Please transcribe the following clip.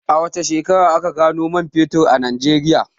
A wace shekara aka gano man fetur a Najeriya?